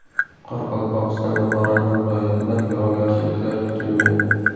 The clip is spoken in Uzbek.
Qoraqalpog‘iston va Xorazm viloyatida yog‘ingarchiliklar kutilmaydi.